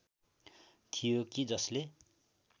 थियो कि जसले